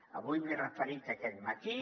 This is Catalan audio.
avui m’hi he referit aquest matí